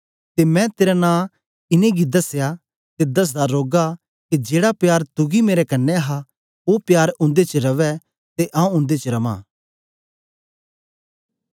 ते मैं तेरा नां इनेंगी दसया ते दसदा रौगा के जेड़ा प्यार तुगी मेरे कन्ने हा ओ प्यार उन्दे च रवै ते आऊँ उन्दे च रवां